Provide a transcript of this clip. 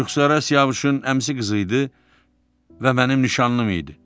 Rüxsarə Siyavuşun əmsi qızı idi və mənim nişanlım idi.